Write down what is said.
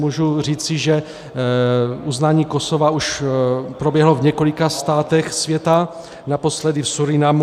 Mohu říci, že uznání Kosova už proběhlo v několika státech světa, naposledy v Surinamu.